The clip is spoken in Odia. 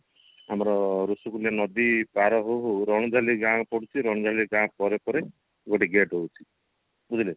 ଆମର ଋଷିକୁଲ୍ୟ ନଦୀ ପାର ହଉ ହଉ ରଣଝଳି ଗାଁ ପଡୁଛି ରଣଝଳି ଗାଁ ପରେ ପରେ ଗୋଟେ gate ରହୁଛି ବୁଝିଲେ